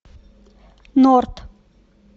норт